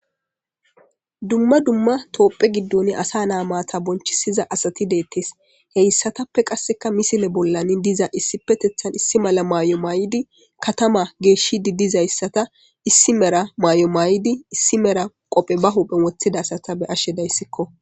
Dumma dumma toophphe giddooni asa na maata bonchchisiza asati deeththees; he isathappe qassikka misile bollan diza issippetheththan issi mala maayuwa maayidi kathamaa geeshshiiddi dizayssata issi mera maayuwa maayidi issi mera qope ba huuphen woththida asata be7ashe dayisikko.